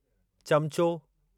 चम्चो